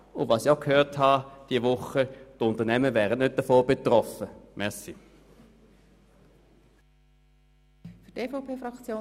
Und diese Woche habe ich auch gehört, dass die Unternehmen davon nicht betroffen wären.